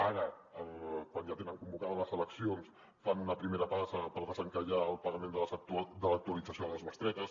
ara quan ja tenen convocades les eleccions fan una primera passa per desencallar el pagament de l’actualització de les bestretes